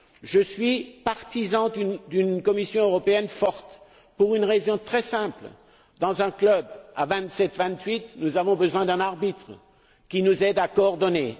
Je suis partisan d'une Commission européenne forte pour une raison très simple dans un club à vingt sept ou vingt huit, nous avons besoin d'un arbitre qui nous aide à coordonner.